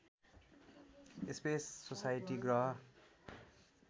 space society ग्रह